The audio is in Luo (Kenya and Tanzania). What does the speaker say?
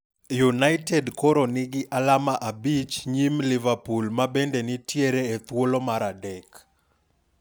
United kor nigi alama abich nyim Liverpool mabende nitiere e thuolo mar adek.